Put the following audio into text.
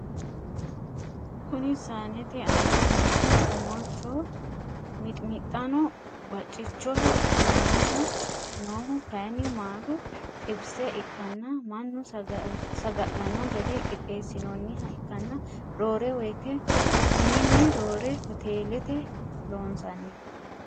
Kuni saanete aana noohu omolicho, miximixxanna bacichoho aanaho noohu kayini maalu xibise ikkanna mannu saga'lanno gede qixeessinnonniha ikkanna roore woyite mininni roore hotellate loonsanni.